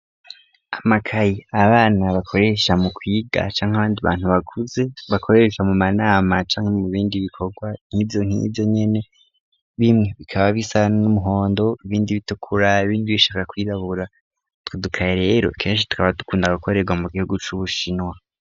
Amakayi abana bakoresha mu kwiga canke abandi bantu bakuze bakoresha mu manama canke mu bindi bikorwa n'ivyo nk'ivyo nyene. Bimwe bikaba bisa n'umuhondo ibindi bitukura ibindi bishaka kwirabura. Utwo dukaye rero kenshi tukaba dukunda gukorerwa mu gihugu c'ubushinwa.